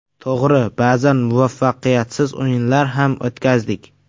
To‘g‘ri, ba’zan muvaffaqiyatsiz o‘yinlar ham o‘tkazdik.